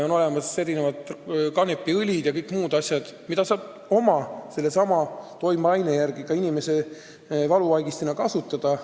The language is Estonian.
On olemas erinevad kanepiõlid ja kõik muud asjad, mida saab sellesama toimeaine tõttu ka inimesel valuvaigistina kasutada.